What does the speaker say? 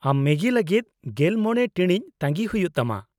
ᱟᱢ ᱢᱮᱜᱤ ᱞᱟᱹᱜᱤᱫ ᱑᱕ ᱴᱤᱬᱤᱡ ᱛᱟᱺᱜᱤ ᱦᱩᱭᱩᱜᱼᱟ ᱛᱟᱢᱟ ᱾